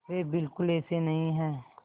वे बिल्कुल ऐसे नहीं हैं